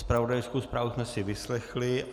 Zpravodajskou zprávu jsme si vyslechli.